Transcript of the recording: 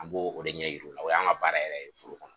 An b'o o de ɲɛ yir'u la, o y'an ka baara yɛrɛ ye foro kɔnɔ.